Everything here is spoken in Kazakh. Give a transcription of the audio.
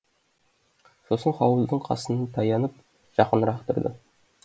сосын хауыздың қасына таянып жақынырақ тұрды